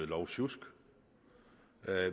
lovsjusk